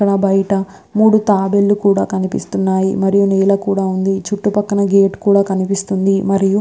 అక్కడ బయట మూడు తాబేలు కూడా కనిపేస్తున్నాయి. మరియు నీడ కూడా ఉంది. పక్కన గేట్ కూడా కనిపిస్తునది. మరువ్--